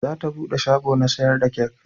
Za ta bude shago na sayar da kek